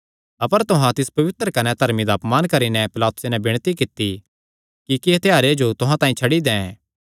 अपर तुहां तिस पवित्र कने धर्मी दा अपमान करी नैं पिलातुसे नैं विणती कित्ती कि इक्की हत्यारे जो तुहां तांई छड्डी दैं